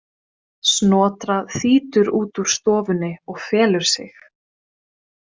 Snotra þýtur út úr stofunni og felur sig.